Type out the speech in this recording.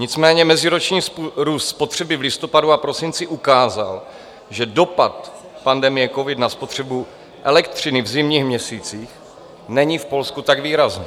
Nicméně meziroční růst spotřeby v listopadu a prosinci ukázal, že dopad pandemie covid na spotřebu elektřiny v zimních měsících není v Polsku tak výrazný.